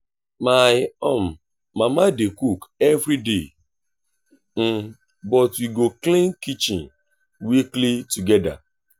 my um mama dey cook every day but we go clean kitchen weekly together.